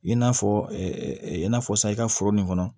I n'a fɔ i n'a fɔ sa i ka foro nin kɔnɔ